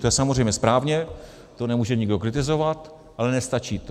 To je samozřejmě správně, to nemůže nikdo kritizovat, ale nestačí to.